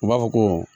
U b'a fɔ ko